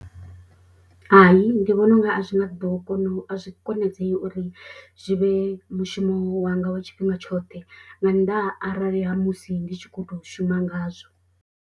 Hai ndi vhona unga a zwi nga ḓo kona u a zwi konadzei uri zwi vhe mushumo wanga. Wa tshifhinga tshoṱhe nga nnḓa ha arali ha musi ndi tshi kho to shuma ngazwo.